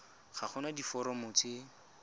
ga go na diforomo tse